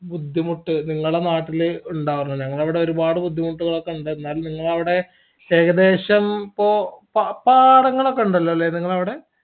ബുദ്ധിമുട്ട് നിങ്ങള നാട്ടിൽ ഇണ്ടാവാറ് ഞങ്ങളഇവിടെ ഒരുപാട് ബുദ്ധിമുട്ടുകളൊക്കെയുണ്ട് എന്നാലും നിങ്ങള അവിടെ ഏകദേശം ഇപ്പൊ പ്പ പാടങ്ങളൊക്കെ ഉണ്ടല്ലോല്ലേ നിങ്ങളവിടെ